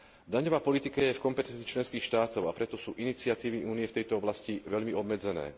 Daňová politika je v kompetencii členských štátov, a preto sú iniciatívy Únie v tejto oblasti veľmi obmedzené.